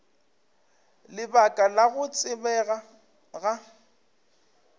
lebaka la go tsebega ga